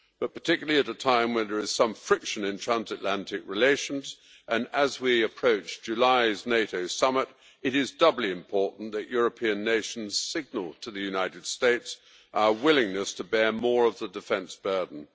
Particularly at a time when there is some friction in transatlantic relations, and as we approach July's NATO summit, it is doubly important that European nations signal to the United States our willingness to bear more of the defence burden.